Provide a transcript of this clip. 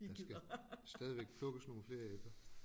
Der skal stadigvæk plukkes nogle flere æbler